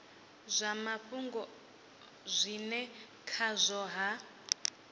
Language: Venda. zwa mafhungo zwine khazwo ha